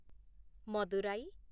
Madurai